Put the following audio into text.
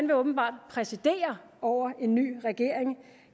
vil åbenbart præsidere over en ny regering